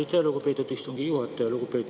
Aitäh, lugupeetud istungi juhataja!